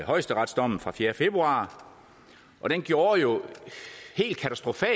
højesteretsdommen fra fjerde februar og den gjorde jo